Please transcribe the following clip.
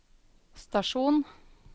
stasjon